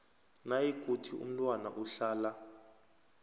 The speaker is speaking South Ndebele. nayikuthi umntwana uhlala